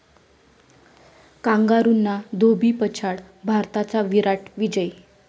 कांगारूंना धोबीपछाड, भारताचा 'विराट' विजय